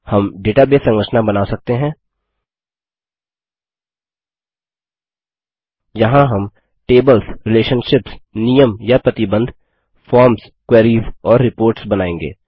हम डेटाबेस संरचना बना सकते हैं यहाँ हम टेबल्स रिलेशनशिप्स नियम या प्रतिबंध फॉर्म्स क्वेरीस और रिपोर्ट्स बनाएँगे